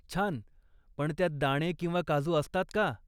छान! पण त्यात दाणे किंवा काजू असतात का?